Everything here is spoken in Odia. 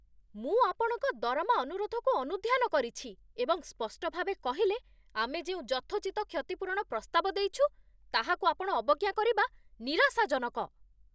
ମୁଁ ଆପଣଙ୍କ ଦରମା ଅନୁରୋଧକୁ ଅନୁଧ୍ୟାନ କରିଛି, ଏବଂ ସ୍ପଷ୍ଟ ଭାବେ କହିଲେ, ଆମେ ଯେଉଁ ଯଥୋଚିତ କ୍ଷତିପୂରଣ ପ୍ରସ୍ତାବ ଦେଇଛୁ, ତାହାକୁ ଆପଣ ଅବଜ୍ଞା କରିବା ନିରାଶାଜନକ।